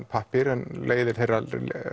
pappír en leiðir þeirra